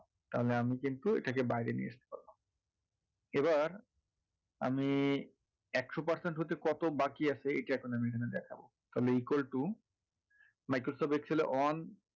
তাহলে আমি কিন্তু এটাকে বাইরে নিয়ে আসতে পারবো এবার আমি একশো percent হতে কত বাকি আছে এইটা এখন আমি এখানে দেখাবো তাহলে equal to microsoft excel এ on